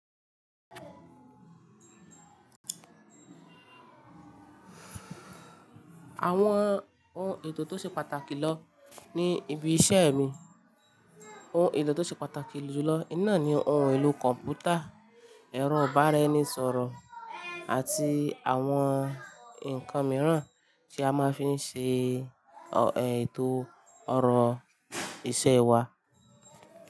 Àwọn ohun ètò tó ṣe pàtàkì lọ ní ibi iṣẹ́ mi, ohun ètò tó ṣe pàtàkì jù lọ iná ni ohun èlò kọ̀ǹpútà, ẹ̀rọ ìbánisọ̀rọ̀ àti àwọn ǹkan mìíràn tí a máa fí ń ṣe ètò ọ̀rọ̀ iṣẹ́ wa.